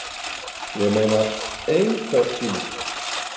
Ég meina EINHVERNTÍMANN?